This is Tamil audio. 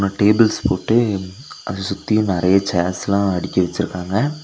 டேபிள்ஸ் போட்டு அத சுத்தியும் நறைய சேர்ஸ்லா அடுக்கி வெச்சுருக்காங்க.